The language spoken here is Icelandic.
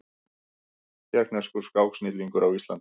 Tékkneskur skáksnillingur á Íslandi